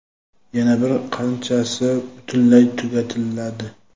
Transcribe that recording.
yana bir qanchasi butunlay tugatiladi.